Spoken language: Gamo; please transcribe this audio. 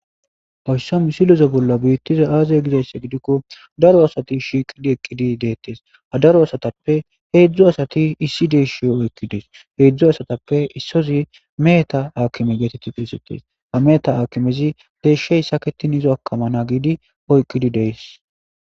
foyssam siloze bolla biittiza aaze gizaasse gidikko daro asati shiiqidi eqqidi deettes a daro asatappe heedzdzu asati issi dees shiyo oykkides heedzdzu asatappe issozi meeta aakkime geetetti pisetes a meeta akimezi deeshshey saketin izo akamana giidi oykkidi dees